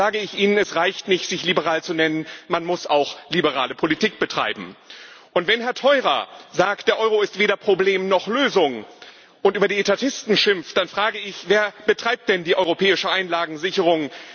dann sage ich Ihnen Es reicht nicht, sich liberal zu nennen, man muss auch liberale Politik betreiben. Wenn Herr Theurer sagt, der Euro ist weder Problem noch Lösung, und über die Etatisten schimpft, dann frage ich Wer betreibt denn die zentralisierte europäische Einlagensicherung?